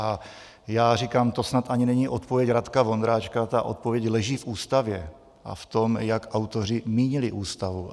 A já říkám - to snad ani není odpověď Radka Vondráčka, ta odpověď leží v Ústavě a v tom, jak autoři mínili Ústavu.